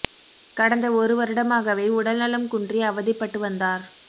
கடந்த ஒரு வருடமாகவே உடல் நலம் குன்றி அவதிப்பட்டு வந்தார்